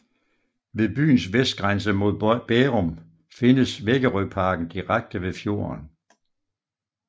Ved byens vestgrænse mod Bærum findes Vækerøparken direkte ved fjorden